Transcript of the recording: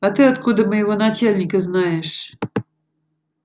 а ты откуда моего начальника знаешь